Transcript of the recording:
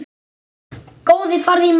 Góði farðu í megrun.